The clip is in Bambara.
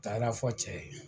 Taara fɔ cɛ ye